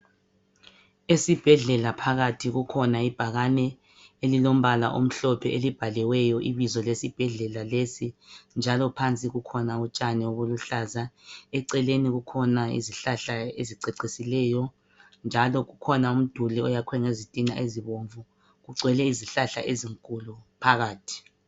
Esibhedlela phakathi kukhona ibhakane elilombala omhlophe elibhaliweyo ibizo lesibhedlela lesi njalo phansi kukhona utshani buluhlaza. Eceleni kukhona izihlahla ezicecisileyo njalo kukhona umduli oyakhiwe ngezitina ezibomvu. Kugcwele izihlahla ezinkulu phakathi.